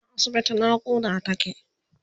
tana asibiti naƙuda take